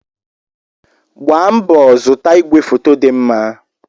Gbaa mbọ zụta ìgwè foto dị mma!